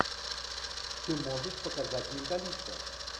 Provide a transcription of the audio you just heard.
ты можешь показать металлиста